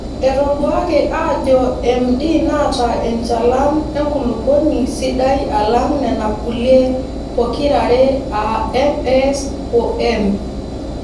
Etoduaaki aajo MD naata enchalan enkulupuoni sidai alang Nena kulie pokirare aa MS o M.